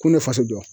Kun ne faso jɔ